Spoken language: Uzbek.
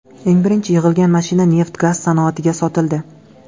Eng birinchi yig‘ilgan mashina neft-gaz sanoatiga sotildi.